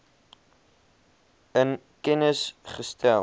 in kennis gestel